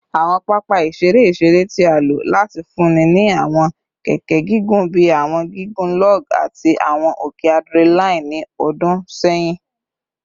Awọn papa iṣere iṣere ti a lo lati funni ni awọn keke gigun bi awọn gigun log ati awọn oke adrenaline ni ọdun sẹyin